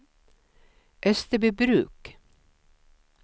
Österbybruk